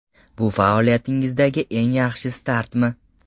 Bu faoliyatingizdagi eng yaxshi startmi?